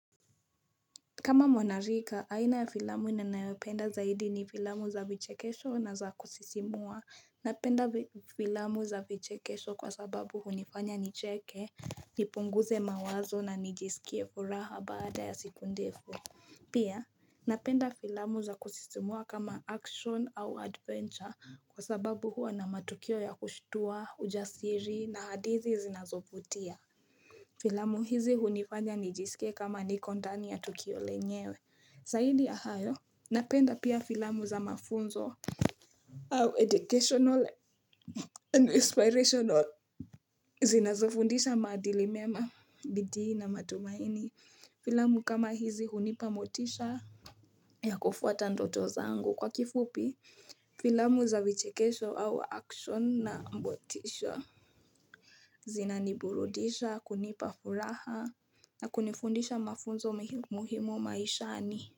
Kama mwanarika, aina ya filamu na nayopenda zaidi ni filamu za vichekesho na za kusisimua. Napenda filamu za vichekesho kwa sababu hunifanya nicheke, nipunguze mawazo na nijisikie furaha baada ya siku ndefu. Pia, napenda filamu za kusisimua kama action au adventure kwa sababu huwa na matukio ya kushtua, ujasiri na hadithi zinazovutia. Filamu hizi hunifanya nijisike kama niko ndani ya tukio lenyewe Zaidi ya hayo, napenda pia filamu za mafunzo. Au educational and inspirational. Zinazofundisha maadili mema, bidii na matumaini. Filamu kama hizi hunipa motisha ya kufuata ndoto zangu kwa kifupi. Filamu za vichekesho au action na motisha. Zina niburudisha kunipa furaha. Na kunifundisha mafunzo muhimu maishani.